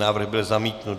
Návrh byl zamítnut.